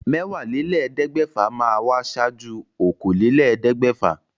Mẹ́wàálélẹ́ẹ̀ẹ́dẹ́gbẹ́fà máa wà ṣáájú okòólélẹ́ẹ̀ẹ́dẹ́gbẹ́fà